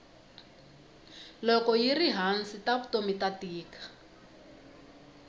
loko yiri hansi ta vutomi ta tika